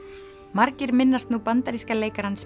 margir minnast nú bandaríska leikarans